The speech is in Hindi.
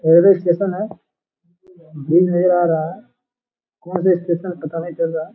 रेलवे स्टेशन है ब्रिज नजर आ रहा है कौन से स्टेशन पता नहीं चल रहा ।